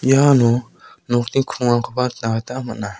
iano nokni krongrangkoba nikna gita man·a.